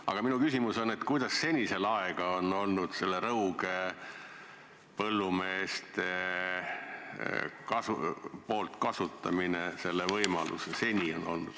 Aga minu küsimus on järgmine: kuidas seni selle laega on Rõuge põllumeeste puhul olnud?